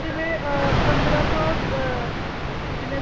ਜਿਵੇਂ ਅਹ ਪੰਦਰਾਂ ਸੌ ਅਹ ਅਹ ਕਿੰਨੇ